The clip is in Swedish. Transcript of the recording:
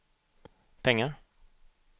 pengar